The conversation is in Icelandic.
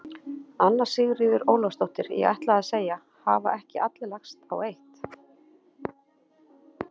Anna Sigríður Ólafsdóttir: Ég ætlaði að segja: Hafa ekki allir lagst á eitt?